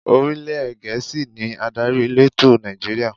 Orílè Gẹ̀ẹ́sì ni adarí elétò Nàìjíríà.